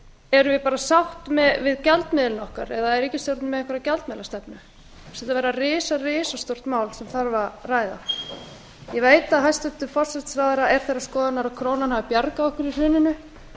erum við bara sátt við gjaldmiðilinn okkar eða er ríkisstjórnin með einhverja gjaldmiðlastefnu mér finnst þetta vera risa risastórt mál sem þarf að ræða ég veit að hæstvirtur forsætisráðherra er þeirrar skoðunar að krónan hafi bjargað okkur í hruninu